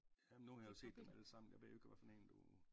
Jamen nu har jeg jo set dem alle sammen jeg ved jo ikke hvad for en du